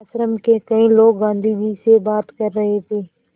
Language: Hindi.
आश्रम के कई लोग गाँधी जी से बात कर रहे थे